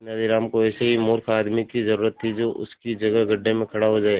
तेनालीराम को ऐसे ही मूर्ख आदमी की जरूरत थी जो उसकी जगह गड्ढे में खड़ा हो जाए